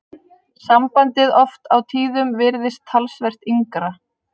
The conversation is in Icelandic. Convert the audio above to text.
Sambandið oft á tíðum virðist talsvert yngra.